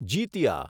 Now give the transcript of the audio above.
Jitiya